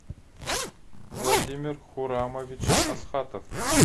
владимир хурамович асхатов